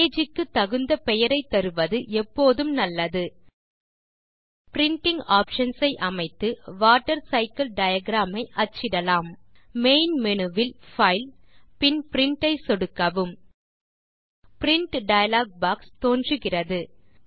page க்கு தகுந்த பெயரை தருவது எப்போதும் நல்லது பிரின்டிங் ஆப்ஷன்ஸ் ஐ அமைத்து வாட்டர்சைக்கில் டயாகிராம் ஐ அச்சிடலாம் மெயின் மேனு வில் பைல் பின் பிரின்ட் ஐ சொடுக்கவும் பிரின்ட் டயலாக் பாக்ஸ் தோன்றுகிறது